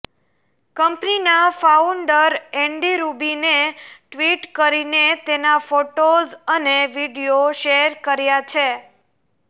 કંપનીના founder Andy રુબીને tweet કરીને તેના ફોટોઝ અને વીડિયો શેર કર્યા છે